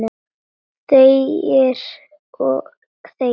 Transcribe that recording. Þegir og þegir.